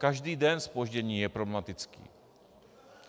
Každý den zpoždění je problematický.